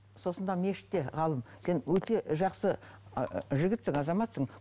сосын мына мешітте ғалым сен өте жақсы ы жігітсің азаматсың